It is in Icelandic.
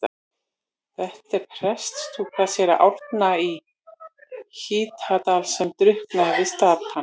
Þetta er prestslúka síra Árna í Hítardal sem drukknaði við Stapann.